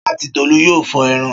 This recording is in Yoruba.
Ṣọlá àti Tolú yóò fọ ẹran.